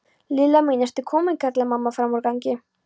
Lilla mín, ertu komin? kallaði mamma framan úr gangi.